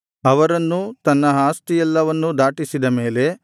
ಅವರನ್ನೂ ತನ್ನ ಆಸ್ತಿಯೆಲ್ಲವನ್ನೂ ದಾಟಿಸಿದ ಮೇಲೆ